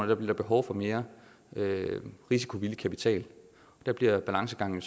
der blive behov for mere risikovillig kapital der bliver balancegangen